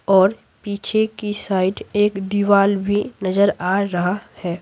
और पीछे की साइड एक दीवार भी नजर आ रहा है।